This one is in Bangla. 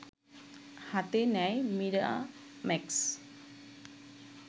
হাতে নেয় মিরাম্যাক্স